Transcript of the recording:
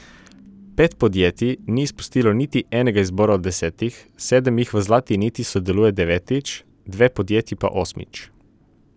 Pet podjetij ni izpustilo niti enega izbora od desetih, sedem jih v Zlati niti sodeluje devetič, dve podjetji pa osmič.